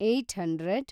eight hundred